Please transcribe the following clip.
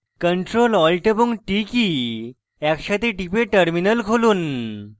ctrl alt এবং t কী একসাথে টিপে terminal খুলুন